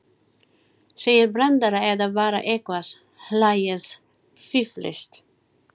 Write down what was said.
Segið brandara eða bara eitthvað, hlæið, fíflist.